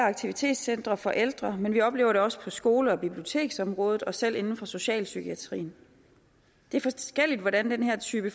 og aktivitetscentre for ældre men vi oplever det også på skole og biblioteksområdet og selv inden for socialpsykiatrien det er forskelligt hvordan den her type